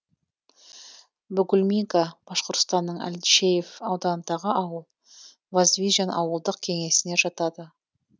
бугульминка башқұртстанның әлшеев ауданындағы ауыл воздвижен ауылдық кеңесіне жатады